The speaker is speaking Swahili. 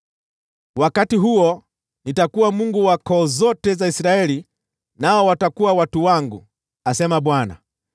“Wakati huo, nitakuwa Mungu wa koo zote za Israeli nao watakuwa watu wangu,” asema Bwana .